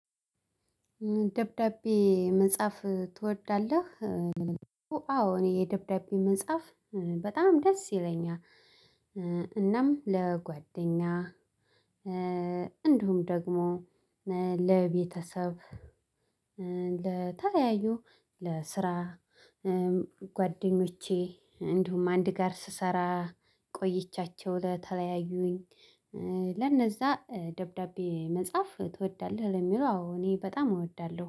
ደብዳቤ መጻፍ ትወዳለህ? አዎ እኔ የደብዳቤ መጻፍ በጣም ደስ ይለኛል። እናም ለጓደኛ እንዲሁም ደግሞ ለቤተሰብ ለተለያዩ ለስራ ጓደኞቼ እንዲሁም አንድ ጋር ስሰራ ቆይቻቸው ለተለያዩኝ ለነዛ ደብዳቤ መጻፍ ትወዳለህ ለሚለው አዎ እኔ በጣም እወዳለሁ